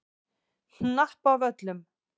Hnappavöllum